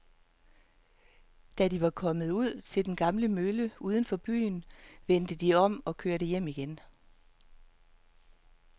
Da de var kommet ud til den gamle mølle uden for byen, vendte de om og kørte hjem igen.